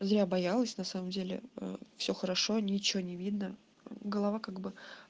я боялась на самом деле а все хорошо ничего не видно голова как бы